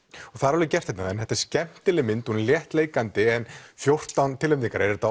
og það er alveg gert þarna en þetta er mjög skemmtileg mynd hún er léttleikandi en fjórtán tilnefningar er þetta